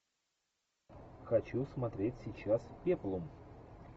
хочу смотреть сейчас пеплум